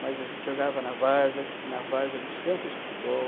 mas a gente jogava na várzea, na várzea dos campos de futebol.